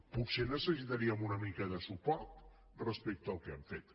potser necessitaríem una mica de suport respecte al que hem fet